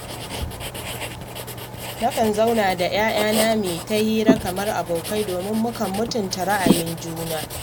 Nakan zauna da ‘ya’yana mu yi ta hira kamar abokai, domin mukan mutunta ra'ayoyin juna